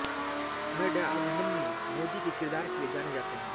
में डॉअभिमन्यु मोदी के किरदार के लिए जाने जाते हैं